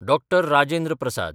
डॉ. Rajendra प्रसाद